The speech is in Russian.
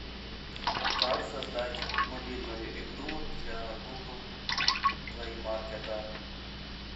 как создать мобильную игру для гугл плей маркета